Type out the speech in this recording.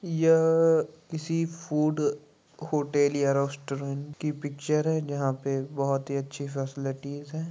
यह किसी food hotel या रेस्टोरेंट कि पिक्चर है जहां पे बहुत ही अच्छी फैसिलिटी हैं।